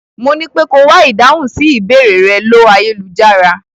Mo nípé ko wá ìdáhùn sí ìbéèrẹ̀ rẹ̀ ló ayélujára.